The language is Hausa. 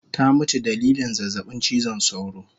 Ta mutu dalilin zazzabin chizon sauro